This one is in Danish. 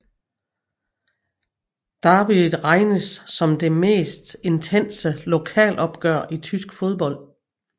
Derbyet regnes som det mest intense lokalopgør i tysk fodbold